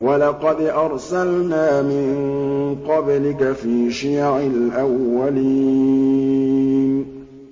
وَلَقَدْ أَرْسَلْنَا مِن قَبْلِكَ فِي شِيَعِ الْأَوَّلِينَ